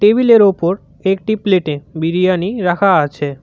Table -এর ওপর একটি প্লেট -এ বিরিয়ানি রাখা আছে।